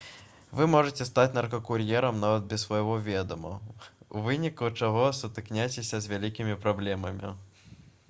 вы можаце стаць наркакур'ерам нават без свайго ведама у выніку чаго сутыкняцеся з вялікімі праблемамі